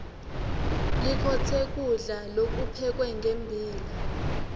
likhotse kulda lokuphekwe ngembila